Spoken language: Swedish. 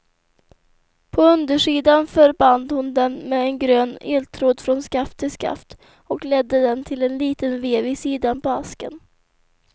På undersidan förband hon dem med en grön eltråd från skaft till skaft och ledde den till en liten vev i sidan på asken.